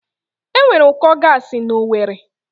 Enwere ụkọ gaasi na Owerri